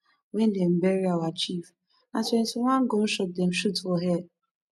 wen dem bury our chief na twentyone gun shots dem shoot for air